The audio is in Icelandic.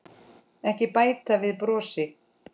Ekki bæta við brosi.